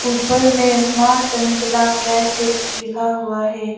ऊपर में मां चंचला ड्राई फ्रूट लिखा हुआ है।